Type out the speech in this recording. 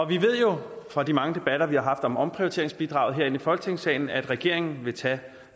vi ved jo fra de mange debatter vi har haft om omprioriteringsbidraget herinde i folketingssalen at regeringen vil tage